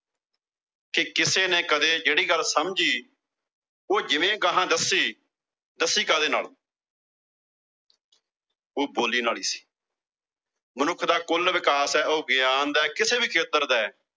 ਤੇ ਕਿਸੇ ਨੇ ਕਦੇ ਜਿਹੜੀ ਗੱਲ ਸਮਝੀ, ਉਹ ਜਿਵੇਂ ਗਾਹਾਂ ਦੱਸੀ, ਉਹ ਦੱਸੀ ਕਾਹਦੇ ਨਾਲ ਉਹ ਬੋਲੀ ਨਾਲ ਈ ਸੀ ਮਨੁੱਖ ਦਾ ਕੁੱਲ ਵਿਕਾਸ ਆ, ਉਹ ਗਿਆਨ ਦਾ, ਕਿਸੇ ਵੀ ਖੇਤਰ ਦਾ